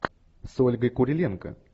с ольгой куриленко